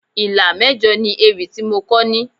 Ìlà mẹ́jọ ni ewì tí mo kọ ní.